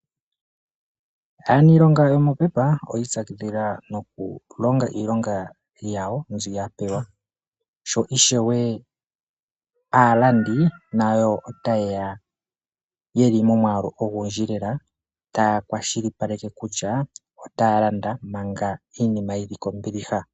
Aaniilonga yomopepa oya itsakidhila noku longa iilonga yawo mbi ya pewa. Sho ishewe aalandi ota yeya yeli momwaalu ogundji lela, taya kwashilipaleke kutya otaya landa manga iinima yili kombiliha.